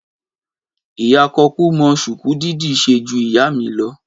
Ìyá kòkú mọ ṣúku dídì se ju ìyá mi lọ.